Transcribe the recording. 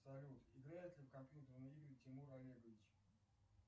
салют играет ли в компьютерные игры тимур олегович